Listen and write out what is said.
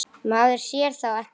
Maður sér þá ekki aftur.